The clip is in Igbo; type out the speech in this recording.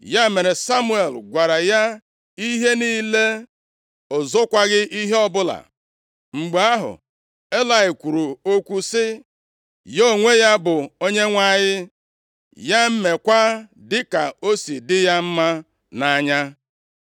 Ya mere, Samuel gwara ya ihe niile, o zokwaghị ihe ọbụla. Mgbe ahụ Elayị kwuru okwu sị, “Ya onwe ya bụ Onyenwe anyị, ya meekwa dịka o si dị ya mma nʼanya.”